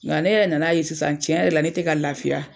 Nka ne yɛrɛ nana ye sisan tiɲɛ yɛrɛ la ne tɛ ka lafiya.